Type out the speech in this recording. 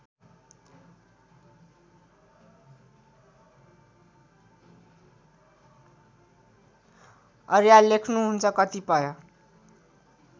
अर्याल लेख्नुहुन्छ कतिपय